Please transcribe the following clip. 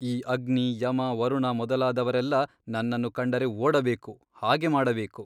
ಈ ಅಗ್ನಿ ಯಮ ವರುಣ ಮೊದಲಾದವರೆಲ್ಲ ನನ್ನನ್ನು ಕಂಡರೆ ಓಡಬೇಕು ಹಾಗೆ ಮಾಡಬೇಕು.